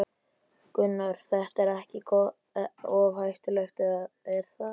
Gunnar: Þetta er ekkert of hættulegt, er það?